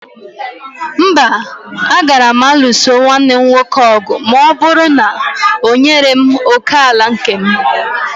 Mba, agaraghị m ịlụso nwanne m nwoke ọgụ ma ọ bụrụ na o nyere m òkè ala nke m